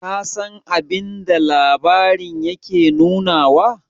ka San abinda labarin yake nunawa?